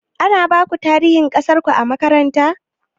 Ana baku tarihin ƙasarku a makaranta?